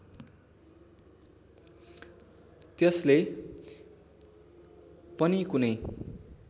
त्यसले पनि कुनै